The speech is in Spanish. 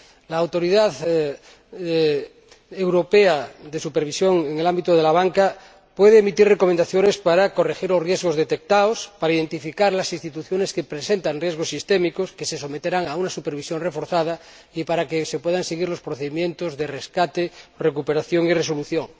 La Autoridad Europea de Supervisión en el ámbito de la banca puede emitir recomendaciones para corregir los riesgos detectados, para identificar las instituciones que presentan riesgos sistémicos que se someterán a una supervisión reforzada y para que se puedan seguir los procedimientos de rescate, recuperación y resolución.